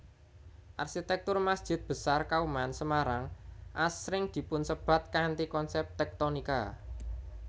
Arsitektur Masjid Besar Kauman Semarang asring dipunsebat kanthi konsep tektonika